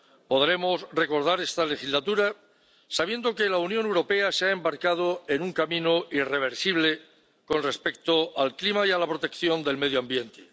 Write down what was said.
Podremos recordar esta legislatura sabiendo que la Unión Europea se ha embarcado en un camino irreversible con respecto al clima y a la protección del medio ambiente.